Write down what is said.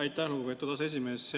Aitäh, lugupeetud aseesimees!